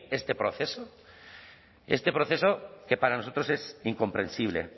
este proceso este proceso que para nosotros es incomprensible